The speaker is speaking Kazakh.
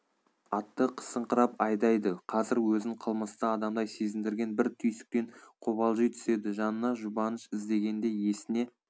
атты қысыңқырап айдайды қазір өзін қылмысты адамдай сезіндірген бір түйсіктен қобалжи түседі жанына жұбаныш іздегенде есіне